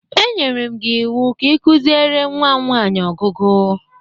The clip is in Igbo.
Enyere m gi iwu ka i kuziere nwam nwanyi ọgụgụ!